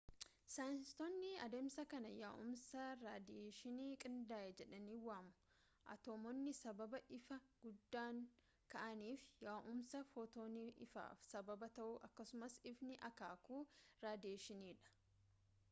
saayinsistoonni adeemsa kana yaa’umsa raadiyeeshinii qindaa’e ” jedhanii waamu atoomonni sababa ifa guddaan ka’aniif yaa’umsa footoonii ifaaf sababa ta’uu akkasumas ifni akaakuu raadiyeeshiniidha